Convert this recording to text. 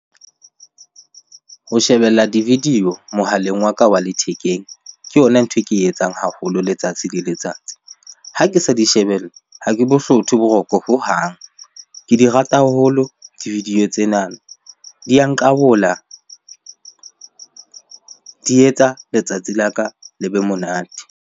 Ho shebella di-video mohaleng wa ka wa lethekeng, ke yona ntho e ke e etsang haholo letsatsi le letsatsi. Ha ke sa di shebella, ha ke bo hlothe boroko hohang. Ke di rata haholo di-video tsena, di ya nqabola, di etsa letsatsi la ka le be monate.